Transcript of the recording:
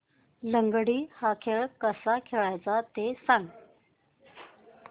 लंगडी हा खेळ कसा खेळाचा ते सांग